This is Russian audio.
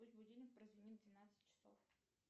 пусть будильник прозвенит в двенадцать часов